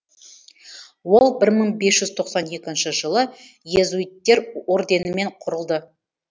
ол бір мың бес жүз тоқсан екінші жылы иезуиттер орденімен құрылды